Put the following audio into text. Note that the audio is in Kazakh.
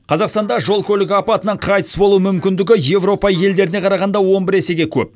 қазақстанда жол көлік апатынан қайтыс болу мүмкіндігі еуропа елдеріне қарағанда он бір есеге көп